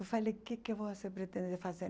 Eu falei, o que você pretende fazer?